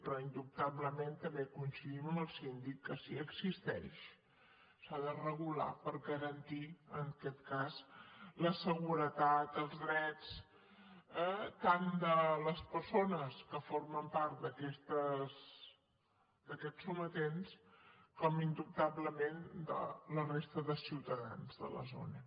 però indubtablement també coincidim amb el síndic que si existeix s’ha de regular per garantir en aquest cas la seguretat els drets eh tant de les persones que formen part d’aquests sometents com indubtablement de la resta de ciutadans de la zona